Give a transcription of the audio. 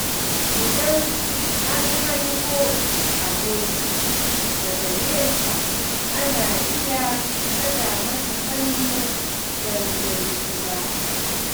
Idan an hango aboki daga nesa, ana iya daga masa hannu don gaisuwa.